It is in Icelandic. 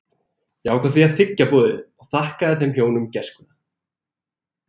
Ég ákvað því að þiggja boðið og þakkaði þeim hjónum gæskuna.